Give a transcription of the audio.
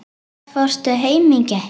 Hvenær fórstu heim í gær?